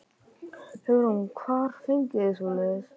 Hugrún: Hvar fenguð þið svoleiðis?